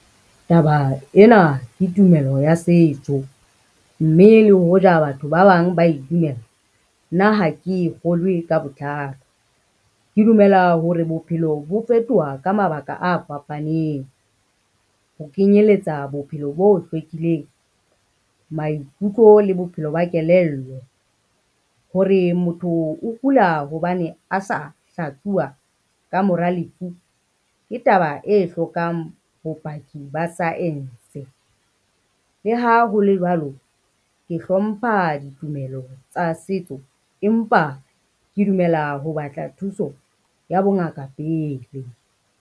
Taba ena ke tumello ya setso, mme le hoja batho ba bang ba e dumela, nna ha ke e kgolwe ka botlalo. Ke dumela hore bophelo bo fetoha ka mabaka a fapaneng, ho kenyeletsa bophelo bo hlwekileng, maikutlo le bophelo ba kelello. Hore motho o kula hobane a sa hlatsuwa ka mora lefu, ke taba e hlokang bopaki ba science. Le ha hole jwalo ke hlompha ditumelo tsa setso, empa ke dumela ho batla thuso ya bongaka pele.